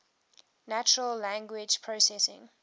natural language processing